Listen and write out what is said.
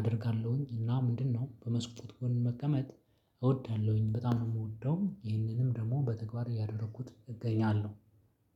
አደርጋለሁኝ እና ምንድነው በመስኮት ጎን መቀመጥ እወዳለሁኝ በጣም ነው የምወደው። ይህንንም ደግሞ በተግባር ያደረኩት እገኛለሁ።